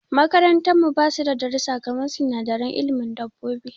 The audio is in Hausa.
Makarantar mu basu da darussa kaman sinadaran ilimin dabobbi.